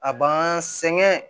A b'an sɛgɛn